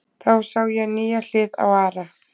Þá sá ég nýja hlið á Ara.